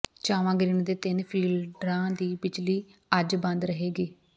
Chawa grid ਦੇ ਤਿੰਨ ਫੀਡਰਾਂ ਦੀ ਬਿਜਲੀ ਅੱਜ ਬੰਦ ਰਹੇਗੀ